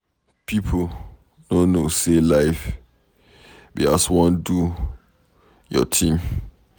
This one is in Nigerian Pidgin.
People no know, say life be as wan do your thing.